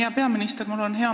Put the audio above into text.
Hea peaminister!